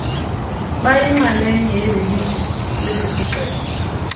bayinxalenye yelilinge lesisixeko